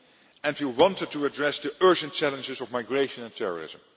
And we wanted to address the urgent challenges of migration and terrorism.